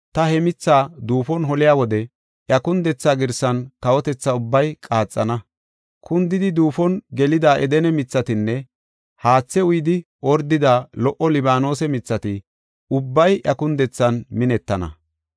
Ta he mithaa duufon holiya wode, iya kundethaa girsan kawotetha ubbay qaaxana. Kundidi duufon gelida Edene mithatinne haathe uyidi ordida lo77o Libaanose mithati ubbay iya kundethan mintena.